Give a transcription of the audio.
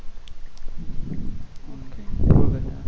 બોલ